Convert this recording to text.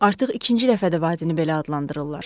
Artıq ikinci dəfədir vadini belə adlandırırlar.